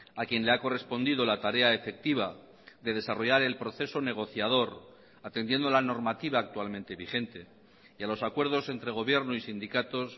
a quien le ha correspondido la tarea efectiva de desarrollar el proceso negociador atendiendo la normativa actualmente vigente y a los acuerdos entre gobierno y sindicatos